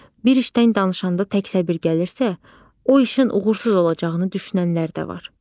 Bir işdən danışanda tək səbir gəlirsə, o işin uğursuz olacağını düşünənlər də var.